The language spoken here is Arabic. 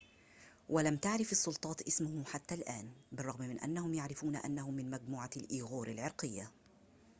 ولم تعرف السلطات اسمه حتى الآن بالرغم من أنهم يعرفون أنه من مجموعة الإيغور العرقية